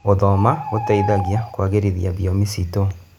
Gũthoma gũteithagia kũagĩrithia thiomi ciitũ.